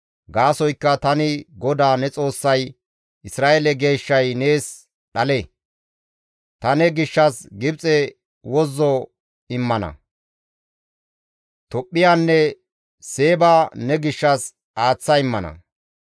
Gaasoykka tani GODAA ne Xoossay, Isra7eele Geeshshay nees dhale; Ta ne gishshas Gibxe wozzo immana; Tophphiyanne Seeba ne gishshas aaththa immana.